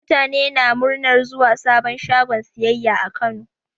Mutane na muranar zuwan sabon shagon siyayya a Kano.